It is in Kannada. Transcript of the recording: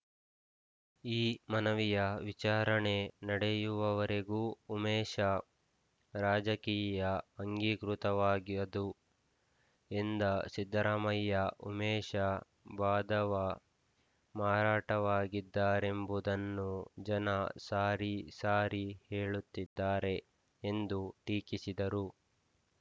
ಈ ಮನವಿಯ ವಿಚಾರಣೆ ನಡೆಯುವವರೆಗೂ ಉಮೇಶ ರಾಜಕೀಯ ಅಂಗೀಕೃತವಾಗಿಹದು ಎಂದ ಸಿದ್ಧರಾಮಯ್ಯ ಉಮೇಶ ವಾಧವ ಮಾರಾಟವಾಗಿದ್ದಾರೆಂಬುದನ್ನು ಜನ ಸಾರಿ ಸಾರಿ ಹೇಳುತ್ತಿದ್ದಾರೆ ಎಂದು ಟೀಕಿಸಿದರು